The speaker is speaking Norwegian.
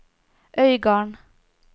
Øygarden